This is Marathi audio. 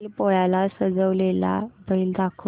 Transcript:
बैल पोळ्याला सजवलेला बैल दाखव